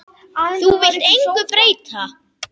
Þú vilt engu breyta.